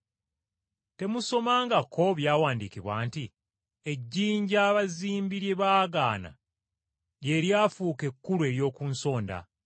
Temusomangako byawandiikibwa nti, “ ‘Ejjinja abazimbi lye baagaana, lye lifuuse ejjinja ekkulu ery’oku nsonda.